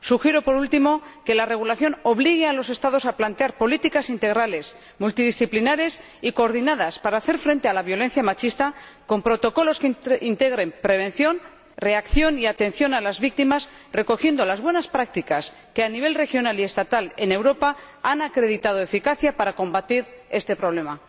Sugiero, por último, que la regulación obligue a los Estados a plantear políticas integrales, multidisciplinares y coordinadas para hacer frente a la violencia machista, con protocolos que integren prevención, reacción y atención a las víctimas, recogiendo las buenas prácticas que, a nivel regional y estatal en Europa, han acreditado eficacia para combatir este problema.